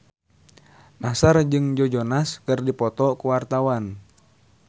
Nassar jeung Joe Jonas keur dipoto ku wartawan